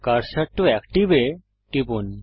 cursor টো active এ টিপুন